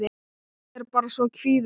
Ég er bara svo kvíðin.